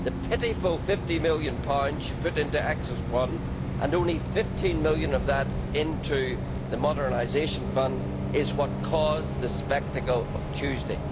The pitiful GBP 50 million she put into Axis 1 and only GBP 15 million of that into the modernisation fund is what caused the spectacle of Tuesday.